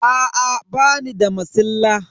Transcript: Aa bani da masilla.